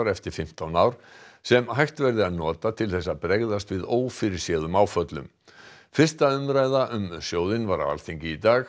eftir fimmtán ár sem hægt verði að nota til að bregðast við ófyrirséðum áföllum fyrsta umræða um sjóðinn var á Alþingi í dag